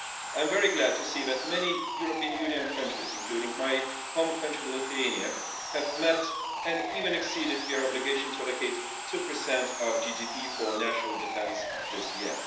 I'm very glad to see that many European Union countries, including my home country Lithuania have met and even exceeded their obligation to allocate 2 of GDP for national defence this year.